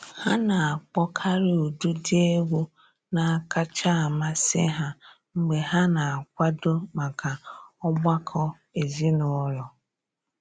Ha na-akpọkarị ụdịdị egwu na-akacha amasị ha mgbe ha na-akwado maka ọgbakọ ezinụlọ.